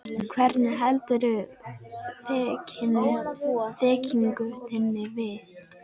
Hvernig heldurðu þekkingu þinni við?